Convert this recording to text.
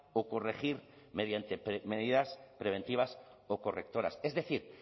o corregir mediante medidas preventivas o correctoras es decir